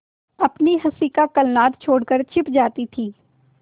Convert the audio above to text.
अपनी हँसी का कलनाद छोड़कर छिप जाती थीं